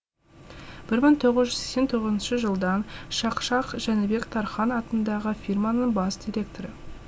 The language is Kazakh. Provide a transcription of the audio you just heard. мың тоғыз жүз сексен тоғызыншы жылдан шақшақ жәнібек тархан атындағы фирманың бас директоры